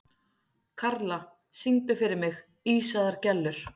Karla, syngdu fyrir mig „Ísaðar Gellur“.